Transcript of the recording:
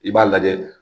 I b'a lajɛ